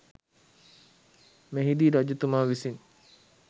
මෙහිදී රජතුමා විසින්